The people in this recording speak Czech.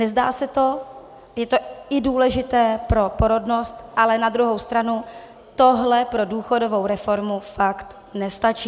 Nezdá se to, je to i důležité pro porodnost, ale na druhou stranu tohle pro důchodovou reformu fakt nestačí.